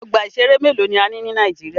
Ọgbà ìṣẹ̀rẹ́ mélòó ni a ní ní Nàíjíríà.